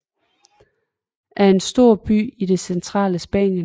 er en stor by i det centrale Spanien